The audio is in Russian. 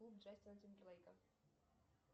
джастина тимберлейка